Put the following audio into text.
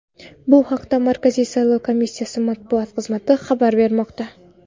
Bu haqda Markaziy saylov komissiyasi Matbuot xizmati xabar bermoqda .